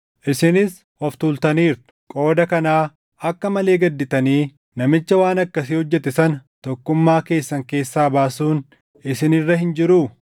Isinis of tuultaniirtu! Qooda kanaa akka malee gadditanii namicha waan akkasii hojjete sana tokkummaa keessan keessaa baasuun isin irra hin jiruu?